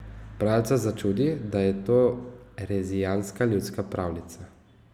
Bralca začudi, da je to rezijanska ljudska pravljica.